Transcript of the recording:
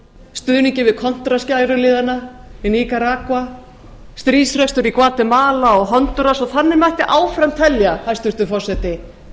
stuðninginn við kontra skæruliðana í nicaragua stríðsrekstur í gvatemala og hondúras og þannig mætti áfram telja hæstvirtur forseti